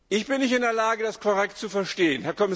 Ich bin nicht in der Lage, das korrekt zu verstehen.